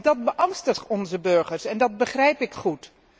Dat beangstigt onze burgers, en dat begrijp ik goed.